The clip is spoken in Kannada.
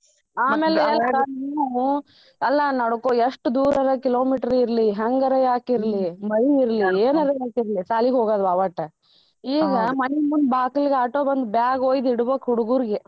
ಆಮೇಲ್ ಅಲ್ಲ ನಡಕೋ ಎಷ್ಟ ದೂರರ kilometer ಇರ್ಲಿ ಹೆಂಗರ ಯಾಕಿರ್ಲಿ ಮಳಿ ಇರ್ಲಿ ಎನರ ಶಾಲಿಗ್ ಹೋಗದ್ವಾ ಒಟ್ಟ ಈಗ ಮನಿ ಮುಂದ್ ಬಾಕಲ್ಗ್ auto ಬಂದ್ bag ಒಯ್ದ್ ಇಡಬಕ್ ಹುಡ್ಗುರ್ಗೆ.